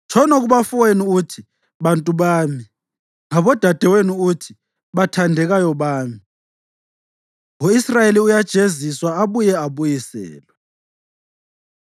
“Tshono kubafowenu uthi, ‘Bantu bami,’ ngabodadewenu uthi, ‘Bathandekayo bami.’ ” U-Israyeli Uyajeziswa Abuye Abuyiselwe